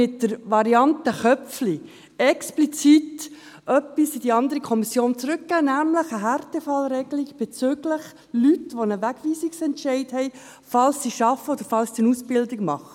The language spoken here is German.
Mit der Variante Köpfli haben wir explizit etwas in die andere Kommission zurückgegeben, nämlich eine Härtefallregelung bezüglich Personen mit einem Wegweisungsentscheid, falls diese arbeiten oder eine Ausbildung machen.